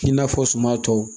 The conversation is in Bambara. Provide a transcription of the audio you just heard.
I n'a fɔ suman tɔw